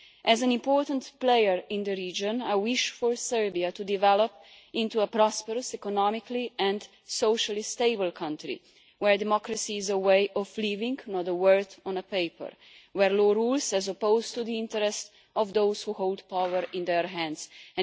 As an important player in the region, I wish for Serbia to develop into a prosperous, economically and socially stable country where democracy is a way of living not a word on paper, where rules, as opposed to the interests of those who hold power in their hands, prevail.